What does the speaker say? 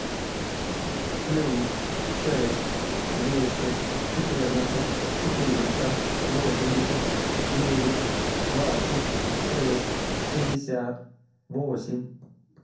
плюс шесть двести четырнадцать четыреста восемьдесят девять двадцать шесть шестьдесят восемь